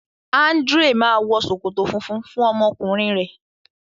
Andrea ma wọ ṣòkòtò fúnfún fún ọmọ ọkùnrin rẹ.